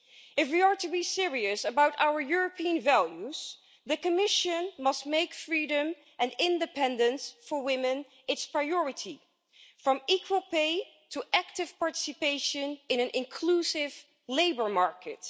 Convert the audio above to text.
If we are to be serious about our European values, the Commission must make freedom and independence for women its priority from equal pay to active participation in an inclusive labour market.